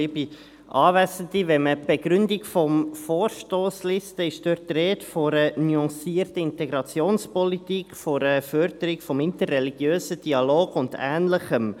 Wenn man die Begründung der Vorstossantwort liest, ist dort die Rede von einer nuancierten Integrationspolitik, von einer Förderung des interreligiösen Dialogs und ähnlichem.